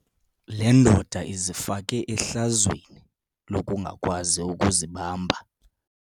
Le ndoda izifake ehlazweni lokungakwazi ukuzibamba.